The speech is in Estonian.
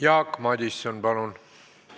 Jaak Madison, palun!